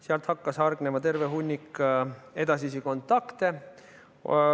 Sealt hakkas hargnema terve hunnik edasisi kontakte.